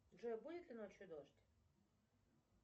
джой будет ли ночью дождь